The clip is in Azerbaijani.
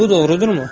Bu doğrudurmu?